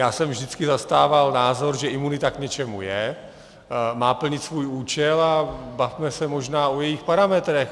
Já jsem vždycky zastával názor, že imunita k něčemu je, má plnit svůj účel, a bavme se možná o jejích parametrech.